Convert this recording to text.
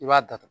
I b'a datugu